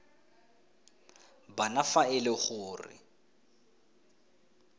bana fa e le gore